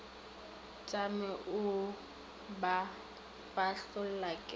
tšame o ba fahlolla ke